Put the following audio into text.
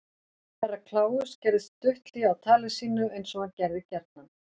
Herra Kláus gerði stutt hlé á tali sínu eins og hann gerði gjarnan.